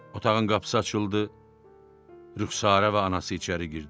otağın qapısı açıldı, Rüxsarə və anası içəri girdi.